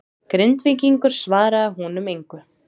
Grindvíkingurinn svaraði honum engu.